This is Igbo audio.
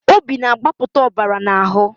Obi na-agbapụta ọbara n'ahụ